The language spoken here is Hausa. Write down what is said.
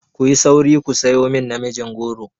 Ku yi sauri ku sayo min namijin goro!